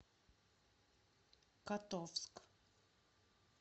котовск